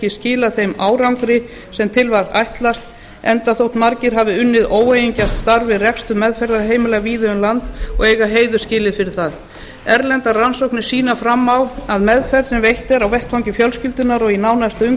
skilað þeim árangri sem til var ætlast enda þótt margir hafi unnið óeigingjarnt starf við rekstur meðferðarheimila víða um land og eða a heiður skilið fyrir það erlendar rannsóknir sýna fram á að meðferð sem veitt er á vettvangi fjölskyldunnar og í nánasta